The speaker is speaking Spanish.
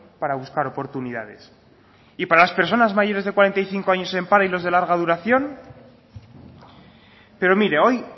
para buscar oportunidades y para las personas mayores de cuarenta y cinco años en paro y los de larga duración pero mire hoy